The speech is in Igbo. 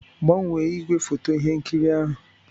Gbanwee ígwèfoto ihe nkiri ahụ?